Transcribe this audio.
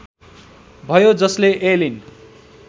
भयो जसले एलिन